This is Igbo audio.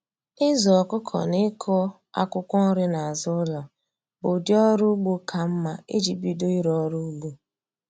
Ịzụ ọkụkọ na ịkụ akwụkwọ nri n'azụ ụlọ bụ ụdị ọrụ ugbo ka mma iji bido ịrụ ọrụ ugbo